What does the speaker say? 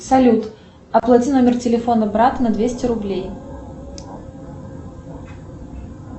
салют оплате номер телефона брата на двести рублей